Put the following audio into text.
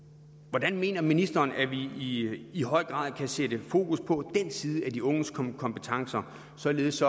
hvordan mener ministeren at vi i i højere grad kan sætte fokus på den side af de unges kompetencer således